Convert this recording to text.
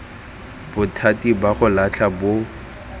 bothati ba go latlha bo